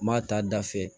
N m'a ta da fɛ